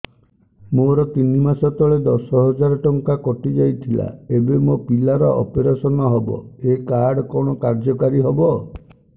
ମୋର ତିନି ମାସ ତଳେ ଦଶ ହଜାର ଟଙ୍କା କଟି ଯାଇଥିଲା ଏବେ ମୋ ପିଲା ର ଅପେରସନ ହବ ଏ କାର୍ଡ କଣ କାର୍ଯ୍ୟ କାରି ହବ